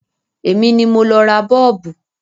Èmi ni mo lo ra Bọ́ọ̀bù.